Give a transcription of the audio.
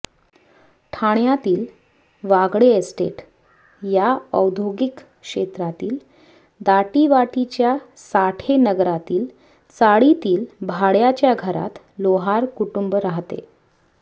ठाण्यातील वागळे इस्टेट या औद्योगिक क्षेत्रातील दाटीवाटीच्या साठेनगरातील चाळीतील भाड्याच्या घरात लोहार कुटुंब राहते